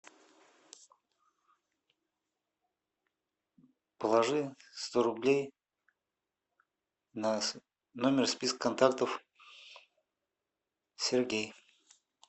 положи сто рублей на номер списка контактов сергей